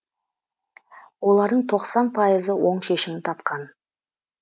олардың тоқсан пайызы оң шешімін тапқан